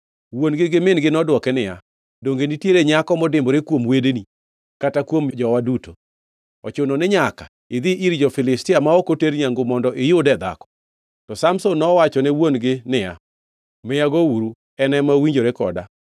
Wuon-gi gi min-gi nodwoke niya, “Donge nitiere nyako modimbore kuom wedeni kata kuom jowa duto? Ochuno ni nyaka idhi ir jo-Filistia ma ok oter nyangu mondo iyude dhako?” To Samson nowachone wuon-gi niya, “Miya gouru. En ema owinjore koda.”